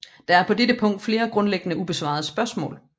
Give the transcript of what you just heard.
Der er på dette punkt flere grundlæggende ubesvarede spørgsmål